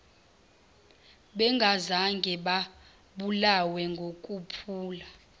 bengazange babulawe ngokuphula